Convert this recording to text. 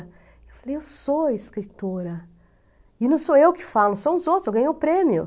Eu falei, eu sou escritora, e não sou eu que falo, são os outros, eu ganhei o prêmio.